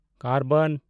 ᱠᱟᱨᱵᱟᱱ